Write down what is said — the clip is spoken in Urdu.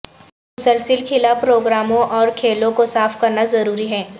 مسلسل کھلا پروگراموں اور کھیلوں کو صاف کرنا ضروری ہے